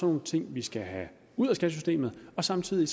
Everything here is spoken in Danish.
nogle ting vi skal have ud af skattesystemet og samtidig